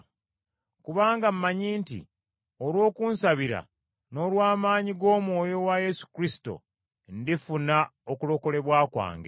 Kubanga mmanyi nti olw’okunsabira n’olw’amaanyi g’Omwoyo wa Yesu Kristo, ndifuna okulokolebwa kwange.